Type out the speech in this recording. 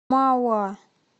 мауа